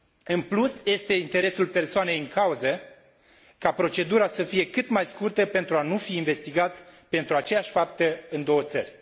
În plus, este interesul persoanei în cauză ca procedura să fie cât mai scurtă pentru a nu fi investigat pentru aceeași faptă în două țări.